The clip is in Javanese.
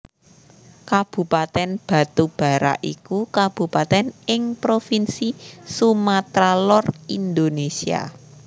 Kabupatèn Batubara iku kabupatèn ing Provinsi Sumatra Lor Indonésia